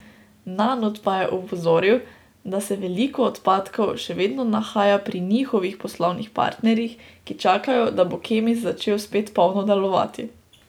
Nanut pa je opozoril, da se veliko odpadkov še vedno nahaja pri njihovih poslovnih partnerjih, ki čakajo, da bo Kemis začel spet polno delovati.